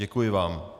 Děkuji vám.